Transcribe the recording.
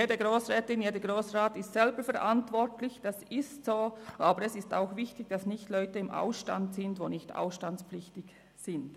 Jede Grossrätin, jeder Grossrat ist selber verantwortlich, das ist so, aber es ist auch wichtig, dass nicht Leute im Ausstand sind, die nicht ausstandspflichtig sind.